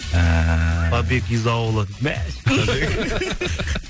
ііі побег из аула мә